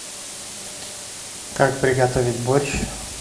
как приготовить борщ